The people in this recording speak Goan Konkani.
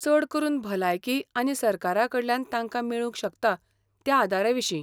चड करून भलायकी आनी सरकाराकडल्यान तांकां मेळूंक शकता त्या आदाराविशीं.